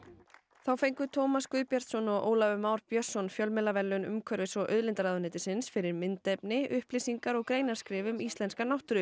þá fengu Tómas Guðbjartsson og Ólafur Már Björnsson fjölmiðlaverðlaun umhverfis og auðlindaráðuneytisins fyrir myndefni upplýsingar og greinaskrif um íslenska náttúru